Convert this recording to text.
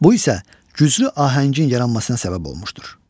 Bu isə güclü ahəngin yaranmasına səbəb olmuşdur.